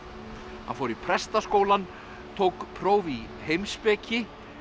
hann fór í prestaskólann tók próf í heimspeki